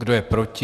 Kdo je proti?